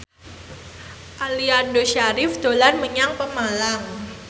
Aliando Syarif dolan menyang Pemalang